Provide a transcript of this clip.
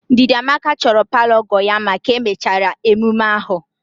Ndidamaka chọrọ palọ ọgọ ya mma ka emechara emume ahụ